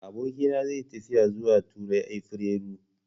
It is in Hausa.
Abokina zai yi tafiya zuwa Turai a afirairu.